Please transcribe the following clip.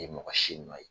Ye mɔgɔ si nɔ ye